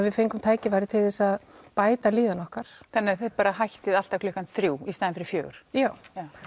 við fengum tækifæri til þess að bæta líðan okkar þannig að þið bara hættið alltaf klukkan þrjú í staðinn fyrir fjóra já